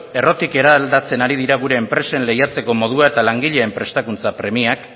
errotik eraldatzen ari dira gure enpresen lehiatzeko modua eta langileen prestakuntza premiak